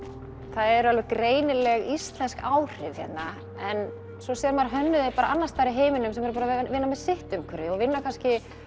það er alveg greinilega íslensk áhrif hérna en svo sér maður að hönnuðir annars staðar í heiminum sem eru að vinna með sitt umhverfi og vinna kannski